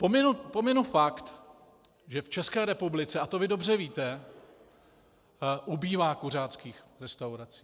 Pominu fakt, že v České republice, a to vy dobře víte, ubývá kuřáckých restaurací.